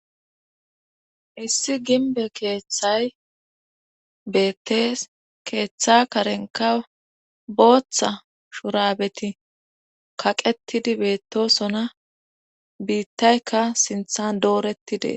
issi gimbe keeththay beettees keeththa karenka booththa shurabeti kaqetidi beettosona biittaykka sinthan doorettidees